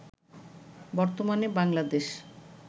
বর্তমানে বাংলাদেশ